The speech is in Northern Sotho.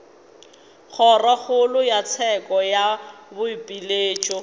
kgorokgolo ya tsheko ya boipiletšo